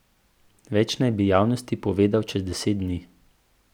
Več naj bi javnosti povedal čez deset dni.